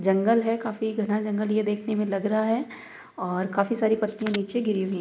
जंगल है काफी घना जंगल ये देखने में लग रहा है और काफी सारी पत्ती नीचे गिरी हुई हैं।